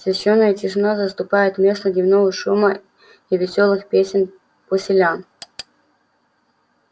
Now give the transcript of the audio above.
священная тишина заступает место дневного шума и весёлых песен поселян